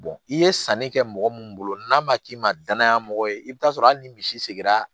i ye sanni kɛ mɔgɔ min bolo n'a ma k'i ma danaya mɔgɔ ye i bɛ taa sɔrɔ hali ni misi sigira